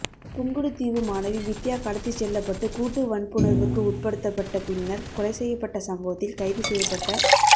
புங்குடுதீவு மாணவி வித்தியா கடத்திச் செல்லப்பட்டு கூட்டு வன்புணர்வுக்கு உட்படுத்தப்பட்ட பின்னர் கொலை செய்யப்பட்ட சம்பவத்தில் கைது செய்யப்பட்ட